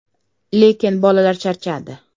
Lekin bolalar charchadi.